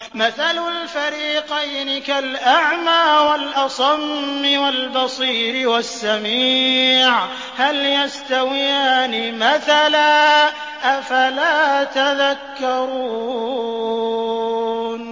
۞ مَثَلُ الْفَرِيقَيْنِ كَالْأَعْمَىٰ وَالْأَصَمِّ وَالْبَصِيرِ وَالسَّمِيعِ ۚ هَلْ يَسْتَوِيَانِ مَثَلًا ۚ أَفَلَا تَذَكَّرُونَ